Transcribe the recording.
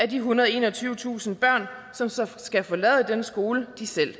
de ethundrede og enogtyvetusind børn som skal forlade den skole de selv